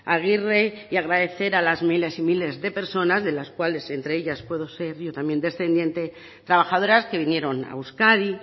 agirre y agradecer a las miles y miles de personas de las cuales entre ellas puedo ser yo también descendiente trabajadoras que vinieron a euskadi